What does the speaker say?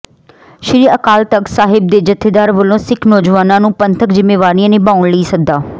ਸ੍ਰੀ ਅਕਾਲ ਤਖ਼ਤ ਸਾਹਿਬ ਦੇ ਜਥੇਦਾਰ ਵਲੋਂ ਸਿੱਖ ਨੌਜਵਾਨਾਂ ਨੂੰ ਪੰਥਕ ਜ਼ਿੰਮੇਵਾਰੀਆਂ ਨਿਭਾਉਣ ਲਈ ਸੱਦਾ